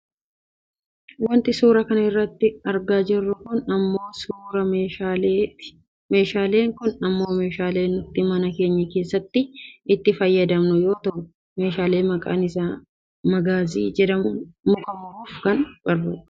Wanti suuraa kana irratti argaa jirru kun ammoo suuraa meeshaa ti. Meeshaan kun ammoo meeshaa nuti mana keenya keessatti itti fayyadamnu yoo ta'u meeshaa maqaan isaa magaazii jedhamudha. Muka muruuf nu gargara.